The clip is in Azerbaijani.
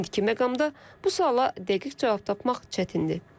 İndiki məqamda bu suala dəqiq cavab tapmaq çətindir.